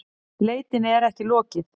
Leitinni er ekki lokið